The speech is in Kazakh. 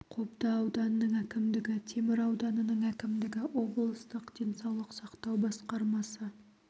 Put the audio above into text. қобда ауданының әкімдігі темір ауданының әкімдігі облыстық денсаулық сақтау басқармасы